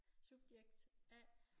Subjekt A